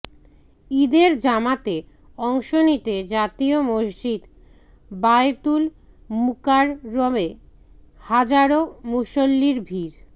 ঈদের জামাতে অংশ নিতে জাতীয় মসজিদ বায়তুল মুকাররমে হাজারো মুসল্লির ভিড়